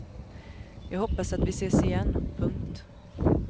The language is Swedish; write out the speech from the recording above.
Jag hoppas att vi ses igen. punkt